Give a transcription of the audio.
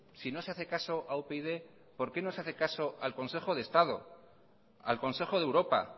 si no se hace caso a upyd por qué no se hace caso al consejo de estado al consejo de europa